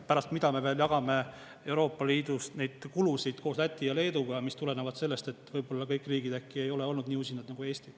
Pärast mida me jagame Euroopa Liidust neid kulusid koos Läti ja Leeduga, mis tulenevad sellest, et kõik riigid äkki ei ole olnud nii usinad nagu Eesti.